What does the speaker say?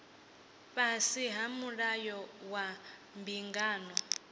fhasi ha mulayo wa mbingano